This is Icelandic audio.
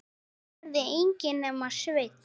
Þetta gerði enginn nema Sveinn.